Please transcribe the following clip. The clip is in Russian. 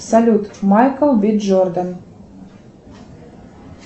салют майкл би джордан